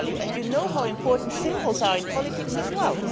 You know how important symbols are in politics as well.